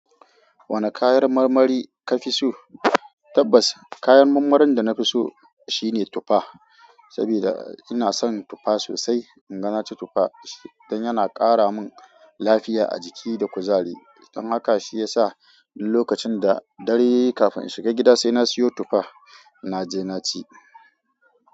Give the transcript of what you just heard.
Wane kayan marmari ka fi so? Tabbas kayan marmarin da na fi so shine tufa, saboda ina son tufa sosai. In ga na ci tufa, dan yana kara min lafiya a jiki da kuzari. Don aka shiyasa duk lokacin da dare yayi kafin in shiga gida sai na siyo tufa na je na ci.